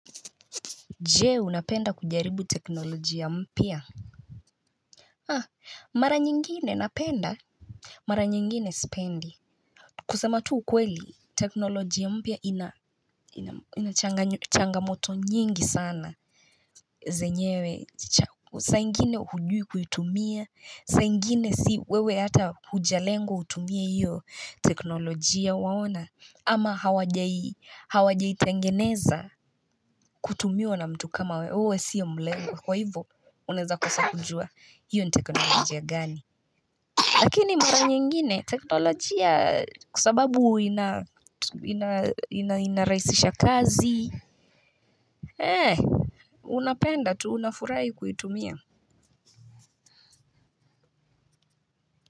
Je unapenda kujaribu teknoloji ya mpya? Ah, mara nyingine napenda mara nyingine sipendi. Kusema tu ukweli teknoloji ya mpya inachangamoto nyingi sana Zenyewe saa ingine hujui kuitumia saa ingine si wewe ata hujalengwa utumie hiyo teknoloji ya waona ama hawajai tengeneza kutumiwa na mtu kama wewe siya mlewe Kwa hivyo, uneza kwasa kujua hiyo nteknolojia gani. Lakini mara nyingine, teknolojia kwa sababu inaraisisha kazi. Unapenda, tu hunafurai kuitumia.